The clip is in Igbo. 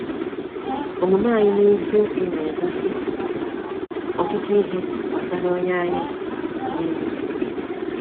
Omume anyị n’eziokwu na-egosi ọtụtụ ihe gbasara onye anyị bụ n’ime.